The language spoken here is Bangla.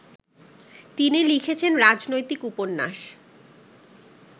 তিনি লিখেছেন রাজনৈতিক উপন্যাস